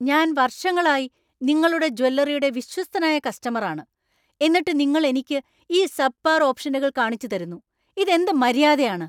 ഞാൻ വർഷങ്ങളായി നിങ്ങളുടെ ജ്വല്ലറിയുടെ വിശ്വസ്തനായ കസ്റ്റമർ ആണ്, എന്നിട്ട് നിങ്ങൾ എനിക്ക് ഈ സബ്പാർ ഓപ്ഷനുകൾ കാണിച്ച്‌ തരുന്നു ?ഇത് എന്ത് മര്യാദയാണ്?